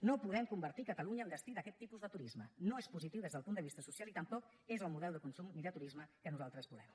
no podem convertir catalunya en destí d’aquest tipus de turisme no és positiu des del punt de vista social i tampoc és el model de consum ni de turisme que nosaltres volem